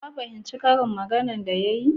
Ka fahimti karin maganan da ya yi?